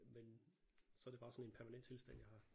Men så det bare sådan en permanent tilstand jeg har